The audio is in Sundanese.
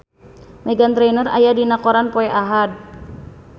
Meghan Trainor aya dina koran poe Ahad